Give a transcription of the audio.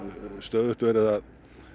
stöðugt verið að